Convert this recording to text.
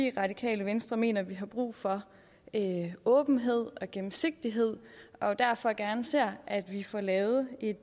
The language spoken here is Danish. i radikale venstre mener vi har brug for åbenhed og gennemsigtighed og derfor gerne ser at vi får lavet et